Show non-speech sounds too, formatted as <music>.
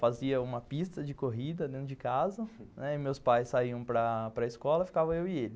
Fazia uma pista de corrida dentro de casa <laughs> e meus pais saíam para para a escola e ficava eu e ele.